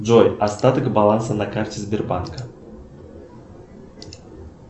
джой остаток баланса на карте сбербанка